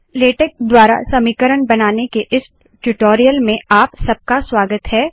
LaTeX द्वारा समीकरण बनाने के इस ट्यूटोरियल में आप सबका स्वागत है